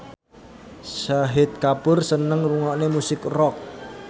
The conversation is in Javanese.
Shahid Kapoor seneng ngrungokne musik rock